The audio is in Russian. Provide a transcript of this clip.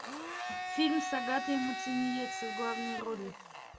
фильм с агатой муцениеце в главной роли